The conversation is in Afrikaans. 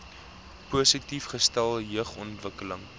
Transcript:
positief gestel jeugontwikkeling